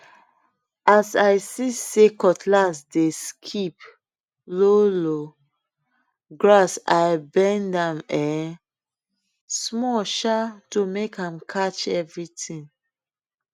as i see say cutlass dey skip low low grass i bend am um small um to make am catch everything